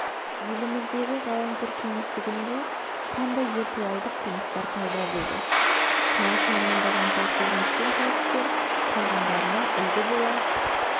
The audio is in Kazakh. еліміздегі ғаламтор кеңістігінде қандай виртуалдық қылмыстар пайда болды кінәсін мойындаған полковник пен кәсіпкер қалғандарына үлгі бола